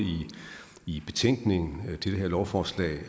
i betænkningen til det her lovforslag